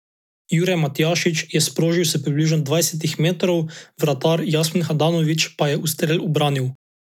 Jure Matjašič je sprožil s približno dvajsetih metrov, vratar Jasmin Handanović pa je ustrel ubranil.